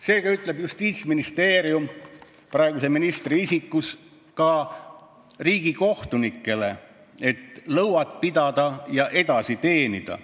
Seega ütleb Justiitsministeerium praeguses ministri isikus ka riigikohtunikele, et tuleb lõuad pidada ja edasi teenida.